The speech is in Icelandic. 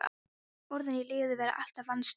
Orðin og lífið verða alltaf andstæðingar.